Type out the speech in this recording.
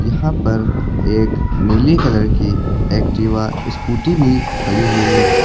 यहां पर एक नीली कलर की एक्टिवा स्कूटी भी खड़ी हुई है।